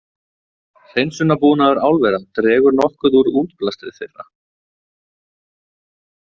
Hreinsunarbúnaður álvera dregur nokkuð úr útblæstri þeirra.